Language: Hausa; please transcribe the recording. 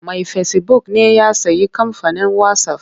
Mai fesibuk ne ya sayi kamfanin wasaf.